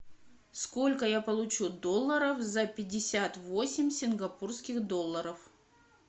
сколько я получу долларов за пятьдесят восемь сингапурских долларов